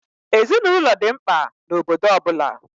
Ezinaụlọ dị mkpa na obodo ọ bụla.